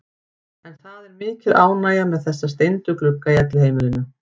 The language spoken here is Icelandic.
En það er mikil ánægja með þessa steindu glugga í Elliheimilinu.